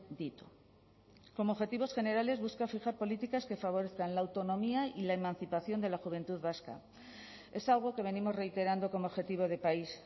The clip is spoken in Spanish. ditu como objetivos generales busca fijar políticas que favorezcan la autonomía y la emancipación de la juventud vasca es algo que venimos reiterando como objetivo de país